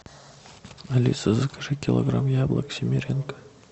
алиса закажи килограмм яблок семеренко